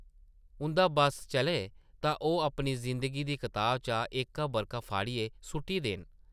उंʼदा बस्स चलै तां ओह् अपनी जिंदगी दी कताबा चा एह्का बʼरका फाड़ियै सुʼट्टी देन ।